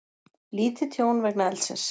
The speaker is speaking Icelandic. Lítið tjón vegna eldsins